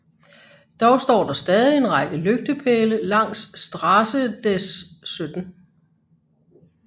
Dog står der stadig en række lygtepæle langs Straße des 17